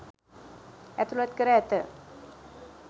ඇතුලත් කර ඇත.